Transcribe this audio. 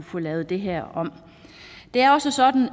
få lavet det her om det er også sådan